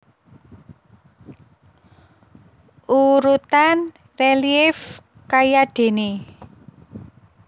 Urutan relief kayadéné